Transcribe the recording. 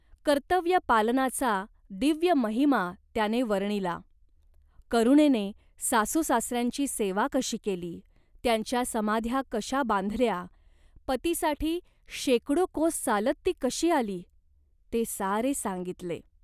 कर्तव्यपालनाचा दिव्य महिमा त्याने वर्णिला. करुणेने सासूसासऱ्यांची सेवा कशी केली, त्यांच्या समाध्या कशा बांधल्या , पतीसाठी शेकडो कोस चालत ती कशी आली, ते सारे सांगितले.